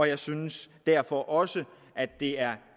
jeg synes derfor også at det er